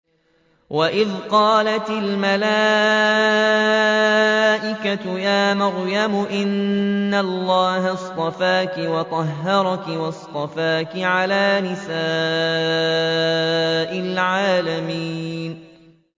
وَإِذْ قَالَتِ الْمَلَائِكَةُ يَا مَرْيَمُ إِنَّ اللَّهَ اصْطَفَاكِ وَطَهَّرَكِ وَاصْطَفَاكِ عَلَىٰ نِسَاءِ الْعَالَمِينَ